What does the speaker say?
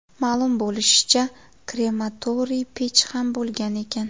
Ma’lum bo‘lishicha, krematoriy pech ham bo‘lgan ekan.